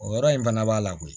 O yɔrɔ in fana b'a la koyi